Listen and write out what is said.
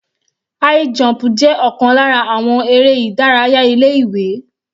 High jump jẹ́ ọ̀kan lára àwọn eré ìdárayá ilé ìwé.